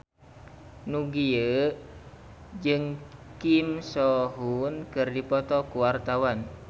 Nugie jeung Kim So Hyun keur dipoto ku wartawan